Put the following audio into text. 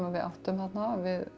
við áttum þarna